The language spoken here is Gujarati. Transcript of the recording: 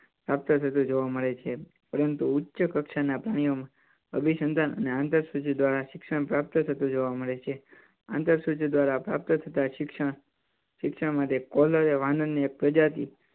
પ્રાપ્ત થતો જોવા મળે છે. પરંતુ ઉચ્ચ કક્ષા ના પ્રાણીઓ માં અભિ સંધાન અને આંતર સૂજ દ્વારા શિક્ષણ પ્રાપ્પ્ત થતું જોવા મળે છે. આંતર સૂજ દ્વારા પ્રાપ્ત થતાં શિક્ષણ, શિક્ષણ માટે વાનર ની એક પ્રજાતિ